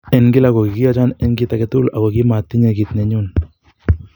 En kila ko kigiyochon en kit age tugul ago kimotiche kit ne nenyun.